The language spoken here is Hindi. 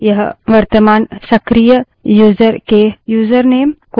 यह वर्तमान सक्रिय यूजर के यूजरनेम को संग्रहीत करता है